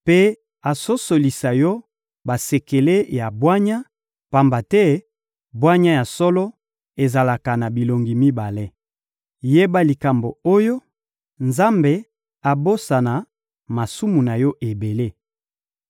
mpe asosolisa yo basekele ya bwanya, pamba te bwanya ya solo ezalaka na bilongi mibale. Yeba likambo oyo: Nzambe abosana masumu na yo ebele.